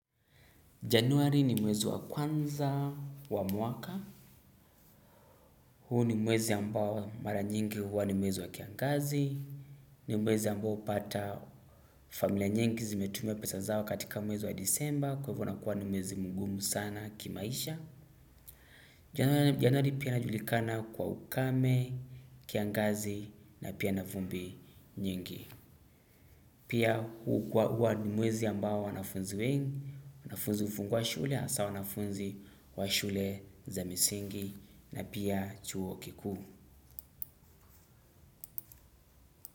Januari ni mwezi wa kwanza wa mwaka. Huu ni mwezi ambao mara nyingi huwa ni mwezi wa kiangazi. Ni mwezi ambao pata familia nyingi zimetumia pesa zao katika mwezi wa disemba. Kwa hivyo nakuwa ni mwezi mgumu sana kimaisha. Januari pia najulikana kwa ukame, kiangazi na pia navumbi nyingi. Pia huwa ni mwezi ambao wanafunzi wengi. Wanafunzi ufungu wa shule asa wanafunzi wa shule za misingi na pia chuo kikuu.